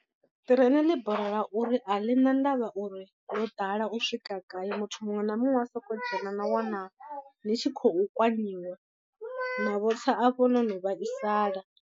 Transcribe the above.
Ṱireini ḽi borela uri a ḽi na ndavha uri ḽo ḓala u swika gai muthu muṅwe na muṅwe u a sokou dzhena na wana ni tshi khou kwanyiwa na vho tsa afho no no vhaisala.